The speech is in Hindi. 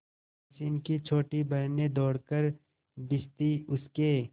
मोहसिन की छोटी बहन ने दौड़कर भिश्ती उसके